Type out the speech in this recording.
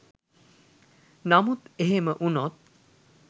නමුත් එහෙම උනොත්